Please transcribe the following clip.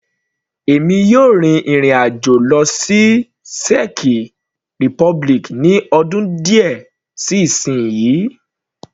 Èmi yóò rin ìrìn àjò lọ sí Czech republic ní ọdún díẹ̀ sí isinyi.